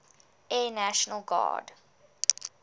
air national guard